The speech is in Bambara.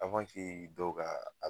dɔw ka a